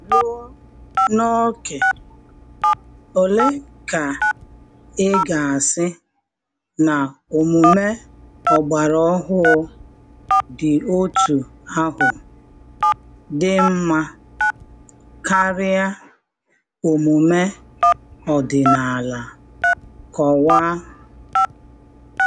luo n' ókè ólé kà ị́gà àsị nà ómúmé ọ̀gbàrà ọ́hụ̀ dị́ ótú áhụ̀ dị ḿma kárịá ómúmé ọ́dị̀nàlà, kọ́wáá.